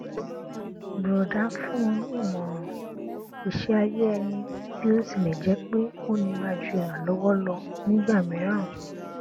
bùrọdá fún un ní ìmọràn iṣẹ ayé ẹni bí ó tilẹ jẹ pé ó nira ju ìrànlọwọ lọ nígbà mìíràn